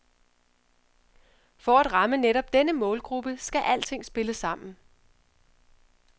For at ramme netop denne målgruppe skal alting spille sammen.